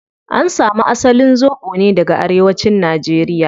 An samu asalin zobo ne daga arewacin nigeria